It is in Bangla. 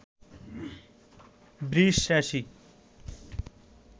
বৃষ রাশি